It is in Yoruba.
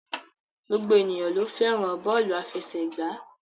Gbogbo ènìyàn ló fẹ́ràn bọ́ọ́lù aláfẹsẹ̀gbá.